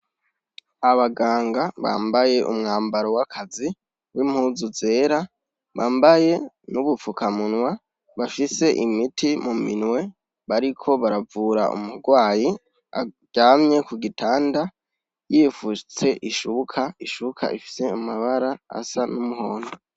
Abaganga bambaye umwambaro w'akazi w'impuzu zera bambaye n'ubupfukamunwa bashise imiti mu minwe bariko baravura umurwayi aryamye ku gitanda yifutse ishubuka ishubka ifise amabara asa n'umuhondo.